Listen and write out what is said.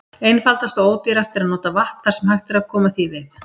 Einfaldast og ódýrast er að nota vatn þar sem hægt er að koma því við.